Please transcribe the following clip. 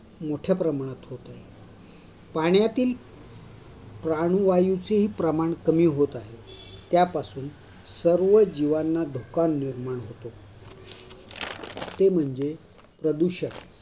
मोठ्या प्रमाणात होते. पाण्यातील प्राणवायूचे प्रमाण कमी होत आहे. त्यापासून सर्व जिवांना धोका निर्माण होतो. ते म्हणजे प्रदूषण.